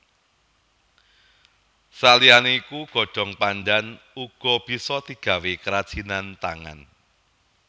Saliyané iku godhong pandhan uga bisa digawé kerajinan tangan